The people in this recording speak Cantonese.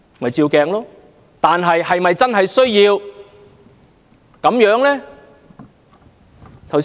可是，是否真的需要這樣做呢？